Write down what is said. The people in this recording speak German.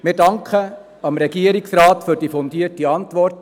Wir danken dem Regierungsrat für die fundierte Antwort.